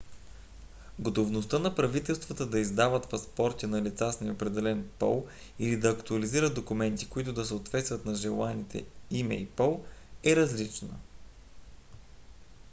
готовността на правителствата да издават паспорти на лица с неопределен пол x или да актуализират документи които да съответстват на желаните име и пол е различна